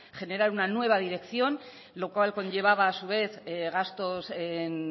generar una nueva dirección lo cual conllevaba a su vez gastos en